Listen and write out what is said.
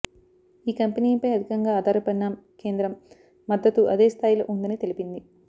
ఈ కంపెనీపై అధికంగా ఆధారపడిన కేం ద్రం మద్దతూ అదే స్థాయిలో ఉందని తెలిపింది